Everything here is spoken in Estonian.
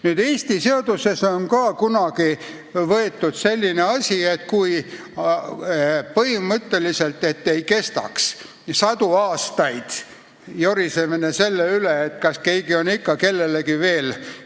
Nüüd, Eesti seaduses on ka kunagi võetud aluseks selline põhimõte, et ei kestaks sadu aastaid jorisemine selle üle, et keegi on ikka kellelegi veel võlgu.